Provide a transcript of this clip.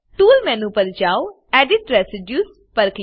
tools menu પર જાઓ edit residues